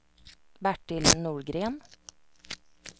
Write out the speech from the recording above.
Bertil Norgren